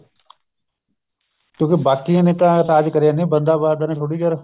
ਕਿਉਂਕਿ ਬਾਕੀਆਂ ਨੇ ਤਾਂ ਰਾਜ ਕਰਿਆ ਨੀ ਬੰਦਾ ਬਹਾਦਰ ਨੇ ਥੋੜੀ ਚਿਰ